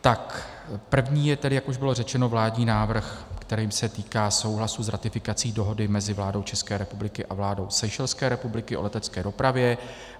První je tedy, jak už bylo řečeno, vládní návrh, který se týká souhlasu s ratifikací Dohody mezi vládou České republiky a vládou Seychelské republiky o letecké dopravě.